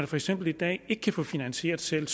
for eksempel i dag er kan få finansieret selv